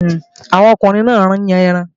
Àwọn ọkùnrin náà ń yàn ẹran